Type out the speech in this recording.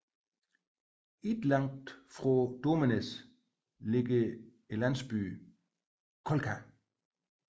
Ikke langt fra Domesnæs ligger landsbyen Kolka